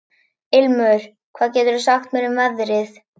Ilmur, hvað geturðu sagt mér um veðrið?